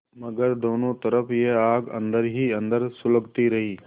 मगर दोनों तरफ यह आग अन्दर ही अन्दर सुलगती रही